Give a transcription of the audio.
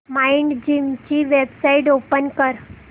Mindgym ची website open कर